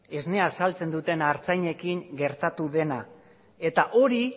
esnea saltzen duten artzainekin gertatu dena eta hori